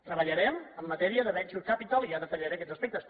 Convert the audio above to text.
treballarem en matèria de venture capital i ja detallaré aquests aspectes